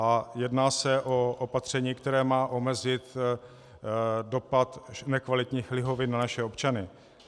A jedná se o opatření, které má omezit dopad nekvalitních lihovin na naše občany.